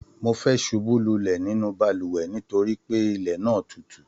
Mo fẹẹ subú lulẹ nínú balùwẹ̀ nítorí pé ilẹ náà tútù